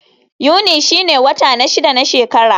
Yuni shine wata na shida na shekara.